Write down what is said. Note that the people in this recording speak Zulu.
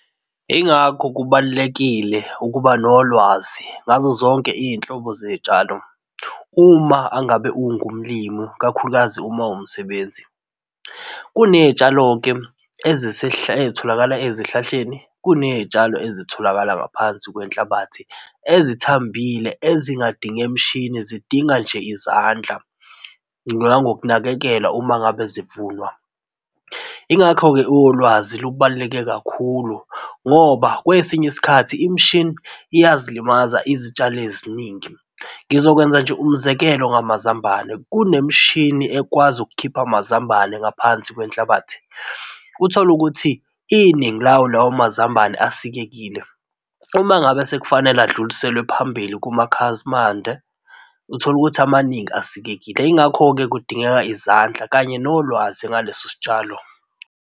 Yingakho kubalulekile ukuba nolwazi ngazo zonke izinhlobo zezitshalo uma angabe ungumlimi ikakhulukazi uma uwumsebenzi, kunezitshalo-ke ezitholakala ezihlahleni. Kunezitshalo ezitholakala ngaphansi kwenhlabathi ezithambile ezingadinge mishini, zidinga nje izandla nangokunakekelwa uma ngabe zivunwa. Yingakho-ke ulwazi lubaluleke kakhulu ngoba kwesinye isikhathi imishini iyazilimaza izitshalo eziningi. Ngizokwenza nje umzekelo ngamazambane, kunemishini ekwazi ukukhipha amazambane ngaphansi kwenhlabathi, utholukuthi iningi lawo lawo mazambane asikekile uma ngabe sekufanele adluliselwe phambili kumakhazimande utholukuthi amaningi asikekile, yingakho-ke kudingeka izandla kanye nolwazi ngaleso sitshalo